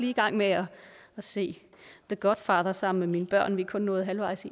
i gang med at se the godfather sammen med mine børn vi er kun nået halvvejs